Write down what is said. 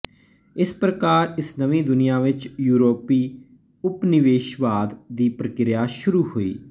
ਇਸ ਪ੍ਰਕਾਰ ਇਸ ਨਵੀਂ ਦੁਨੀਆ ਵਿੱਚ ਯੂਰੋਪੀ ਉਪਨਿਵੇਸ਼ਵਾਦ ਦੀ ਪ੍ਰਕਿਰਿਆ ਸ਼ੁਰੂ ਹੋਈ